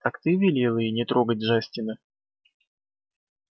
так ты велел ей не трогать джастина